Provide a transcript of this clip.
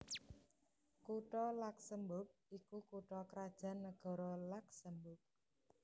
Kutha Luksemburg iku kutha krajan nagara Luksemburg